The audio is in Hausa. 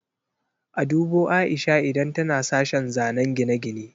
A dubo Aisha idan tana sashen zanen gine-gine.